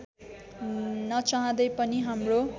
नचाहँदै पनि हाम्रो